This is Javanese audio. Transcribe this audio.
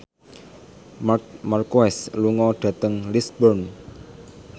Marc Marquez lunga dhateng Lisburn